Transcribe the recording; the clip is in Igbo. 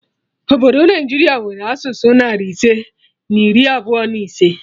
Obodo Naijiria nwere asụsụ narị ise na iri abụọ na ise